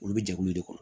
Olu bɛ jɛkulu de kɔnɔ